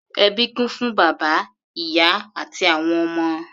Ẹbí kún fún bàbá, ìyá àti àwọn ọmọ.